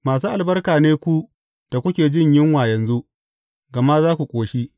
Masu albarka ne ku da kuke jin yunwa yanzu, gama za ku ƙoshi.